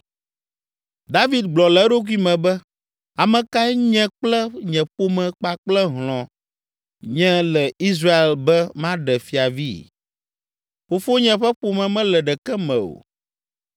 David gblɔ le eɖokui me be, “Ame kae nye kple nye ƒome kpakple hlɔ̃ nye le Israel be maɖe fiavi? Fofonye ƒe ƒome mele ɖeke me o!”